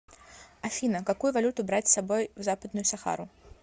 афина какую валюту брать с собой в западную сахару